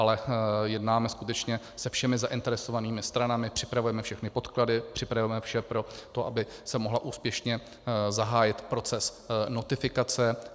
Ale jednáme skutečně se všemi zainteresovanými stranami, připravujeme všechny podklady, připravujeme vše pro to, aby se mohl úspěšně zahájit proces notifikace.